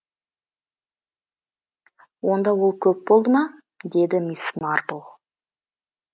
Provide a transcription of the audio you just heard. онда ол көп болды ма деді мисс марпл